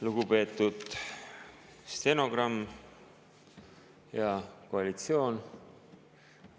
Lugupeetud stenogramm ja koalitsioon!